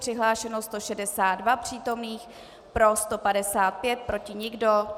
Přihlášeno 162 přítomných, pro 155, proti nikdo.